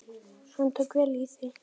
Hann tók vel í það.